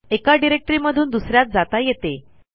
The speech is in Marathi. एका डिरेक्टरीमधून दुस यात जाता येते